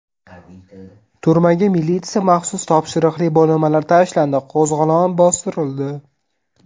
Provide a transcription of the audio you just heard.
Turmaga militsiya maxsus topshiriqli bo‘linmalari tashlandi, qo‘zg‘olon bostirildi.